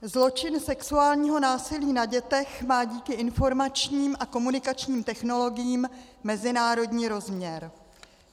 Zločin sexuálního násilí na dětech má díky informačním a komunikačním technologiím mezinárodní rozměr.